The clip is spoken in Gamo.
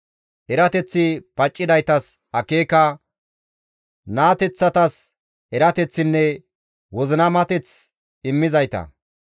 Erateththi paccidaytas akeeka, naateththatas erateththinne wozinamateth immizayta.